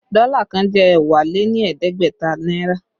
Dọ́là kan jẹ́ ẹ́wá lé ní ẹ̀ẹ́dẹ́gbẹ̀ta náírà